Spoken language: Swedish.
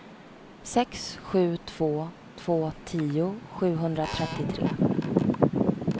sex sju två två tio sjuhundratrettiotre